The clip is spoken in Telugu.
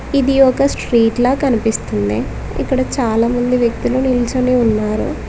ఇది ఒక స్ట్రీట్ లా కనిపిస్తుంది ఇక్కడ చాలామంది వ్యక్తులు నిల్చనే ఉన్నారు.